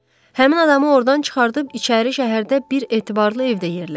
Həmin adamı ordan çıxardıb içəri şəhərdə bir etibarlı evdə yerləşdir.